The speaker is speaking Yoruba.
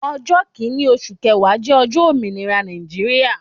Ọjọ́ kinni oṣù kẹwa jẹ ọjọ́ ominira Nàìjíríà.